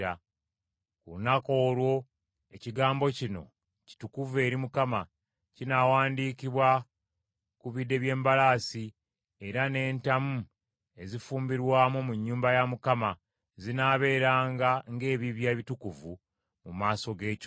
Ku lunaku olwo ekigambo kino, “kitukuvu eri Mukama Katonda,” kinaawandikibwa ku bide by’embalaasi era n’entamu ezifuumbirwamu mu nnyumba ya Mukama zinaabeeranga ng’ebibya ebitukuvu mu maaso g’ekyoto.